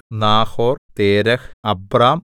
Nahor Terah Abram